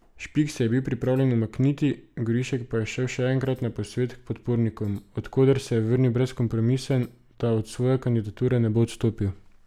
Špik se je bil pripravljen umakniti, Gorišek pa je šel še enkrat na posvet k podpornikom, od koder se je vrnil brezkompromisen, da od svoje kandidature ne bo odstopil.